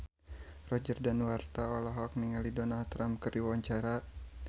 Roger Danuarta olohok ningali Donald Trump keur diwawancara